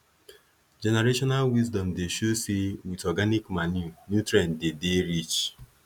generational wisdom dey show say with organic manure nutrient dey dey rich